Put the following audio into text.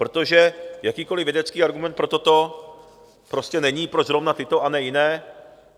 Protože jakýkoliv vědecký argument pro toto prostě není, proč zrovna tyto a ne jiné.